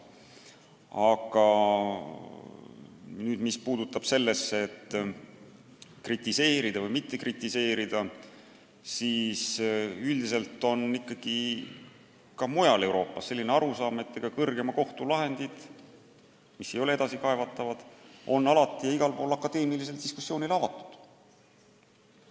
Aga mis puudutab seda, kas kritiseerida või mitte kritiseerida, siis üldiselt on ka mujal Euroopas selline arusaam, et kõrgeimad kohtulahendid, mis ei ole edasikaevatavad, on alati ja igal pool akadeemilisele diskussioonile avatud.